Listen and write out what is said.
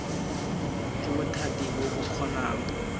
ke bothati bo bo kgonang